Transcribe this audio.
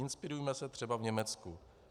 Inspirujme se třeba v Německu.